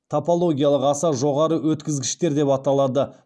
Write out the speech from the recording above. топологиялық аса жоғары өткізгіштер деп аталады